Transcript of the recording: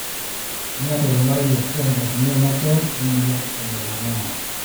iyata olmarei ashu enkatini emakewon emoyian e melanoma.